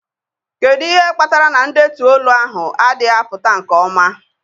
Kedu ihe kpatara na ndetu olu ahụ adịghị apụta nke ọma?